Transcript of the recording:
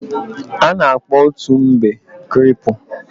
a na-akpo otu mbe creepu